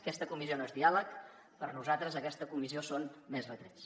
aquesta comissió no és diàleg per nosaltres aquesta comissió són més retrets